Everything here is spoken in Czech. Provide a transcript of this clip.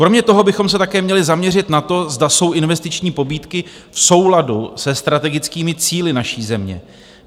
Kromě toho bychom se také měli zaměřit na to, zda jsou investiční pobídky v souladu se strategickými cíli naší země.